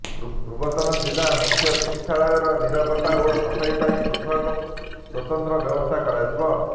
ପୁରାତନ ଜିଲ୍ଲା ମୁଖ୍ୟ ଚିକିତ୍ସାଳୟର ନିରାପତ୍ତା ଓ ସଫେଇ ପାଇଁ ପୃଥକ ସ୍ୱତନ୍ତ୍ର ବ୍ୟବସ୍ଥା କରାଯିବ